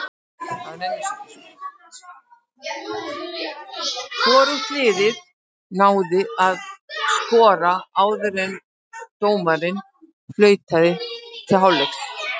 Hvorugt liðið náði þó að skora áður en dómarinn flautaði til hálfleiks.